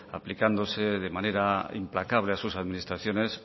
aplicándose de manera implacable a sus administraciones